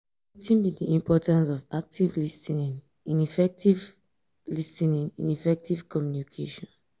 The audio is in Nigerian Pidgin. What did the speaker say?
wetin be di importance of active lis ten ing in effective lis ten ing in effective communication?